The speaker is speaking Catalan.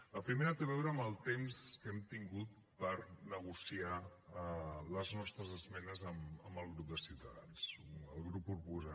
la primera té a veure amb el temps que hem tingut per negociar les nostres esmenes amb el grup de ciutadans el grup proposant